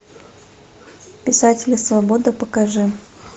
писатели свободы покажи